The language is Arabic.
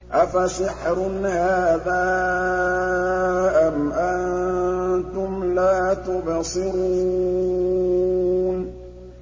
أَفَسِحْرٌ هَٰذَا أَمْ أَنتُمْ لَا تُبْصِرُونَ